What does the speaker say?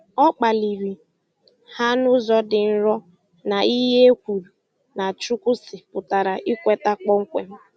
O kpaliri ha n'ụzọ dị nro na ihe a e kwuru na "Chukwu sị ' pụtara ikweta kpọmkwem